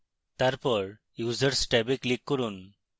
তারপর users ট্যাবে click করুন